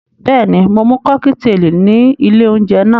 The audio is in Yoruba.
Bẹ́ẹ̀ni, mo mu kọ́kíteèlì ní ilé-oúnjẹ náà.